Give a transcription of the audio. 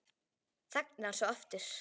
Þagnar svo aftur.